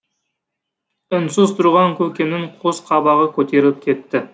үнсіз тұрған көкемнің қос қабағы көтеріліп кетті